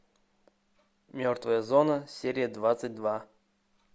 мертвая зона серия двадцать два